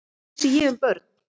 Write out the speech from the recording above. Hvað vissi ég um börn?